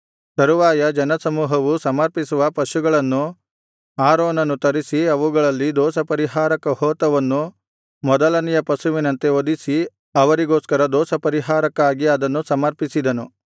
ತರುವಾಯ ಜನಸಮೂಹವು ಸಮರ್ಪಿಸುವ ಪಶುಗಳನ್ನು ಆರೋನನು ತರಿಸಿ ಅವುಗಳಲ್ಲಿ ದೋಷಪರಿಹಾರಕ ಹೋತವನ್ನು ಮೊದಲನೆಯ ಪಶುವಿನಂತೆ ವಧಿಸಿ ಅವರಿಗೋಸ್ಕರ ದೋಷಪರಿಹಾರಕ್ಕಾಗಿ ಅದನ್ನು ಸಮರ್ಪಿಸಿದನು